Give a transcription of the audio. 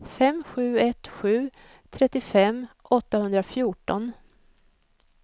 fem sju ett sju trettiofem åttahundrafjorton